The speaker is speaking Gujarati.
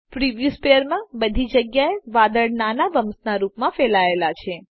પ્રિવ્યુ સ્પેરમાં બધી જગ્યા એ વાદળ નાના બમ્પ્સના રૂપમાં ફેલાયેલા છે